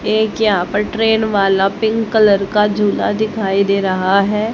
एक यहां पर ट्रेन वाला पिंक कलर का झूला दिखाई दे रहा है।